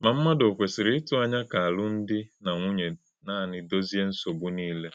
Mà ḿmádụ̣ ò kwesìrì̄ ị́tụ̀ ànyá̄ kà àlùm̀dí̄ - na - nwúnyē nànị̄ dòzìè̄ nsọ̀gbú̄ niilē?